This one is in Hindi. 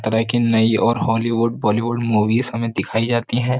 तरह की नई और हॉलीवुड बॉलीवुड मूवीज हमें दिखाई जाती है।